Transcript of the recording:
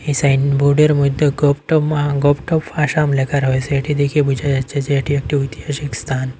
এই সাইনবোর্ডের মইধ্যে গোভটোভ মা গোভটোভ আসাম লেখা রয়েসে এটি দেখে বুঝা যাচ্ছে যে এটি একটি ঐতিহাসিক স্থান।